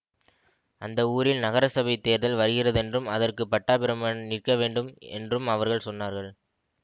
அந்த ஊரில் நகரசபைத் தேர்தல் வருகிறதென்றும் அதற்கு பட்டாபிராமன் நிற்கவேண்டும் என்றும் அவர்கள் சொன்னார்கள்